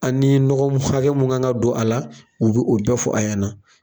An ni nɔgɔ mun hakɛ mun kan ga don a la u bi o bɛɛ fɔ a ɲɛna